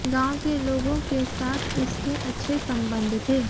गांव के लोगों के साथ उसके अच्छे संबंध थे